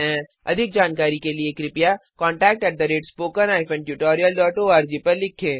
अधिक जानकारी के लिए कृपया contact at spoken hyphen tutorial dot O R G पर लिखें